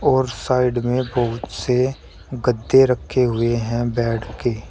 और साइड में बहुत से गद्दे रखे हुए हैं बेड के।